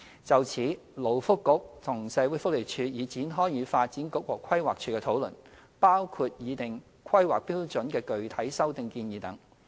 就此，勞工及福利局和社會福利署已展開與發展局和規劃署的討論，包括擬訂《規劃標準》的具體修訂建議等。